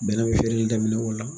Bɛnɛ be feere daminɛ o la